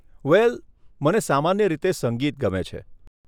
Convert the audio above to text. વેલ, મને સામાન્ય રીતે સંગીત ગમે છે.